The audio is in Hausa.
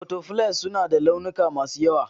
Butterflies suna da launuka masu yawa.